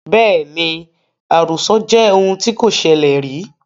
Bẹ́ẹ̀ni, àròsọ jẹ́ ohun tí kò ṣẹlẹ rìí